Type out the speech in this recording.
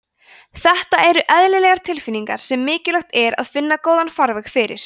þetta eru eðlilegar tilfinningar sem mikilvægt er að finna góðan farveg fyrir